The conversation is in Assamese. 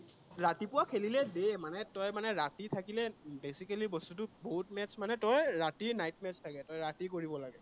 ৰাতিপুৱা খেলিলে দিয়ে মানে, তই মানে ৰাতি থাকিলে basically বস্তুতো match মানে তই ৰাতি night match থাকে, তই ৰাতি কৰিব লাগে।